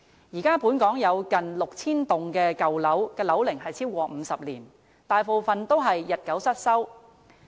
現時本港有近 6,000 幢樓齡超過50年的舊樓，大部分已日久失修。